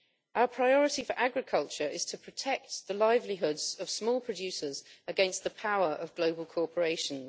Our priority for agriculture is to protect the livelihoods of small producers against the power of global corporations.